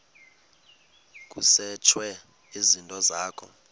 kusetshwe izinto zakho